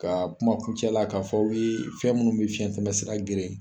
Ka kuma kun cɛ la , k'a fɔ aw ye fɛn minnu bɛ fiɲɛ tɛmɛ sira geren.